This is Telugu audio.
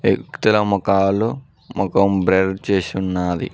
మొఖాలు మొఖం బ్లర్ చేసి ఉన్నాది.